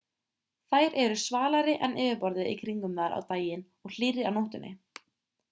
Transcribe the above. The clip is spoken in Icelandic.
þær eru svalari en yfirborðið í kringum þær á daginn og hlýrri á nóttunni